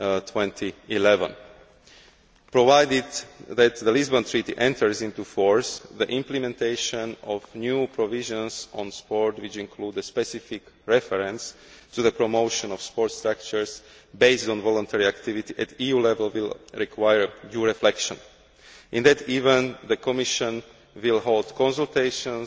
2011. Provided that the Lisbon Treaty enters into force, the implementation of new provisions on sport, which include the specific reference to the promotion of sports structures based on voluntary activities at EU level, will require due reflection. In that event, the Commission will hold consultations